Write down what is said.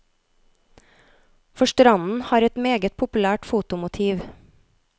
For stranden har et meget populært fotomotiv.